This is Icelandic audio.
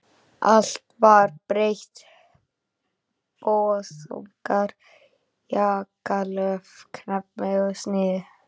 Allt var breytt, boðungar, jakkalöf, hnepping, snið.